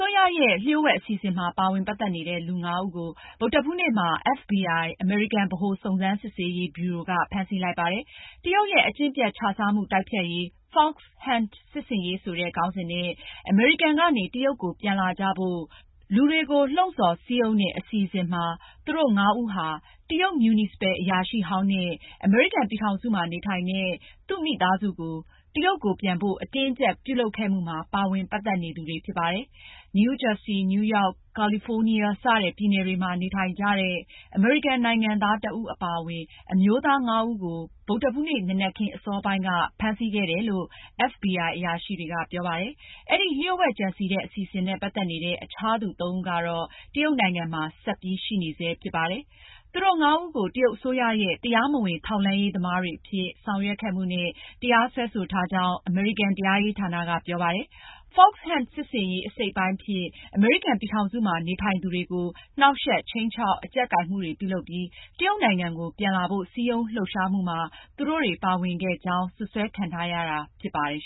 ိုးရရဲ့ လျှို့ဝှက်အစီအစဉ်မှာ ပါဝင်ပတ်သက်နေတဲ့ လူ (၅)ဦးကို ဗုဒ္ဓဟူးနေ့မှာ FBI အမေရိကန် ဗဟိုစုံစမ်းစစ်ဆေးရေး ဗျူရို က ဖမ်းဆီးလိုက်ပါတယ်။တရုတ်ရဲ့ အကျင့်ပျက်ခြစားမှုတိုက်ဖျက်ရေး Fox Hunt စစ်ဆင်ရေးဆိုတဲ့ခေါင်းစဉ်နဲ့ အမေရိကန်ကနေ တရုတ်ကို ပြန်လာကြဖို့ လူတွေကို လှုံဆော်စည်းရုံးတဲ့အစီအစဉ်ရ သူတို့ ငါးဦးဟာ တရုတ် မြူနီစပယ် အရာရှိဟောင်းနဲ့ အမေရိကန်ပြည်ထောင်စုမှာ နေထိုင်တဲ့ သူ့မိသားစုကို တရုတ်ကို ပြန်ဖို့ အတင်းအကျပ်ပြုလုပ်ခဲ့မှုမှာ ပါဝင်ပတ်သက်နေသူတွေဖြစ်ပါတယ်။ နယူးဂျာဆီ၊ နယူးရောက်၊ ကာလီဖိုးနီးယား စတဲ့ပြည်နယ်တွေမှာ နေထိုင်ကြတဲ့ အမေရိကန်နိုင်ငံသားတဦးအပါအဝင် အမျိုးသားငါးဦးကို ဗုဒ္ဓဟူးနေ့ နံနက်ခင်းအစောပိုင်းမှာ ဖမ်းဆီးခဲ့တယ်လို့ FBI အရာရှိတွေက ပြောပါတယ်။ အဲဒီ လျှို့ဝှက်ကြံစည်တဲ့ အစီအစဉ်နဲ့ ပတ်သက်နေတဲ့ အခြားသူ သုံးဦးကတော့ တရုတ်နိုင်ငံမှာ ဆက်ပြီးရှိနေဆဲဖြစ်ပါတယ်။ သူတို့ငါးဦးကို တရုတ်အစိုးရရဲ့တရားမဝင်ထောက်လှမ်းရေးသမားတွေအဖြစ် ဆောင်ရွက်ခဲ့မှုနဲ့ တရားစွဲဆိုထားကြောင်း အမေရိကန် တရားရေးဌာနက ပြောပါတယ်။ Fox Hunt စစ်ဆင်ရေးအစိတ်အပိုင်းအဖြစ် အမေရိကန်ပြည်ထောင်စုမှာ နေထိုင်သူတွေကို နှောင့်ယှက်၊ခြိမ်းခြောက်၊ အကြပ်ကိုင်မှုတွေပြုလုပ်ပြီး တရုတ်နိုင်ငံကို ပြန်လာဖို့ စည်းရုံးလှုပ်ရှားမှုမှာ သူတို့တွေ ပါဝင်ခဲ့ကြောင်း စွပ်စွဲခံထားရတာဖြစ်ပါတယ်